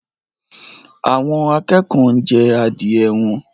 Àwọn akẹ́kọ̀ọ́ ń jẹ adìẹ wọn